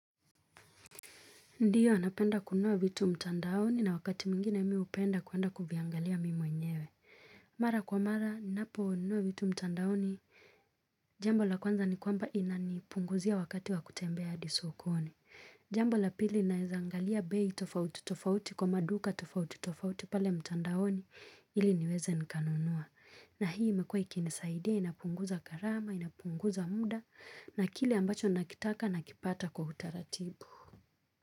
Ndio, napenda kunua vitu mtandaoni na wakati mwingine mimi hupenda kwenda kuviangalia mimi mwenyewe. Mara kwa mara, ninaponunua vitu mtandaoni, jambo la kwanza ni kwamba inanipunguzia wakati wa kutembea hadi sokoni. Jambo la pili nawezangalia bei tofauti tofauti kwa maduka tofauti tofauti pale mtandaoni ili niweze nikanunua. Na hii imekuwa ikinisaidia, inapunguza gharama, inapunguza muda, na kile ambacho nakitaka nakipata kwa utaratibu.